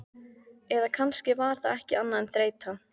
Eða kannski var það ekki annað en þreyta.